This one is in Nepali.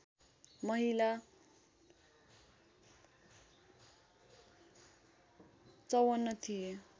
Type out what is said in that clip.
महिला ५४ थिए